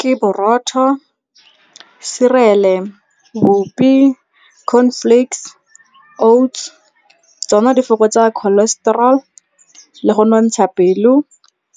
Ke borotho, cereal-e, bupi, corn flakes, oats. Tsona di fokotsa cholesterol le go nontsha pelo,